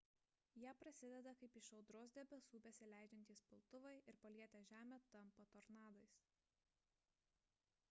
jie prasideda kaip iš audros debesų besileidžiantys piltuvai ir palietę žemę tampa tornadais